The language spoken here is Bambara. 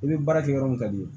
I bɛ baara kɛ yɔrɔ min ka di ye